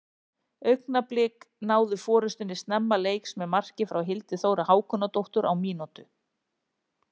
Augnablik náðu forystunni snemma leiks með marki frá Hildi Þóru Hákonardóttur á mínútu.